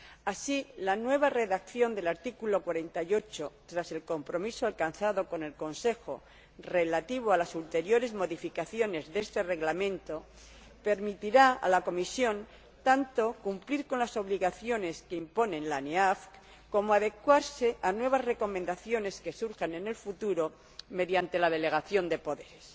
Así, la nueva redacción del artículo 48, tras el compromiso alcanzado con el Consejo, relativo a las ulteriores modificaciones de este Reglamento, permitirá a la Comisión tanto cumplir con las obligaciones que impone la CPANE como adecuarse a nuevas recomendaciones que surjan en el futuro, mediante la delegación de poderes.